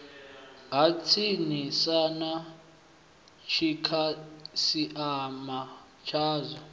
ha tsinisa na dzikhasiama dzao